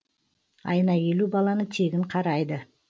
айына елу баланы тегін қарайды